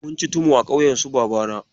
Munci tumu a ƙauyen su Babana.